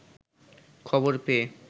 খবর পেয়ে